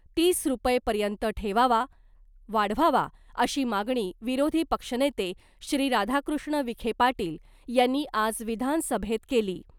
तीस रुपयेपर्यंत ठेवावा वाढवावा अशी मागणी विरोधी पक्षनेते श्री राधाकृष्ण विखे पाटील यांनी आज विधानसभेत केली .